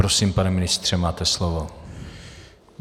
Prosím, pane ministře, máte slovo.